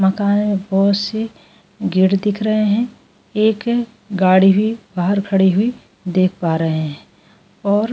मकान में बहुत से गेट दिख रहे हैं एक गाड़ी भी बाहर खड़ी हुई देख पा रहे हैं और --